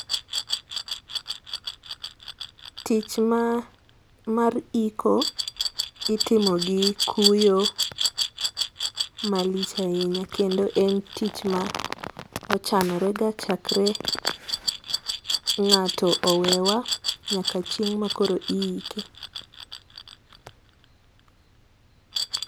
Tich mar iko itimo gi kuyo malich ahinya kendo en tich ma ochanore ga chakre ng'ato owewa nyaka chieng ma iike.